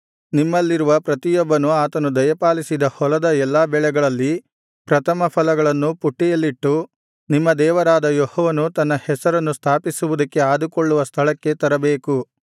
ನಿಮ್ಮಲಿರುವ ಪ್ರತಿಯೊಬ್ಬನೂ ಆತನು ದಯಪಾಲಿಸಿದ ಹೊಲದ ಎಲ್ಲಾ ಬೆಳೆಗಳಲ್ಲಿ ಪ್ರಥಮಫಲಗಳನ್ನು ಪುಟ್ಟಿಯಲ್ಲಿಟ್ಟು ನಿಮ್ಮ ದೇವರಾದ ಯೆಹೋವನು ತನ್ನ ಹೆಸರನ್ನು ಸ್ಥಾಪಿಸುವುದಕ್ಕೆ ಆದುಕೊಳ್ಳುವ ಸ್ಥಳಕ್ಕೆ ತರಬೇಕು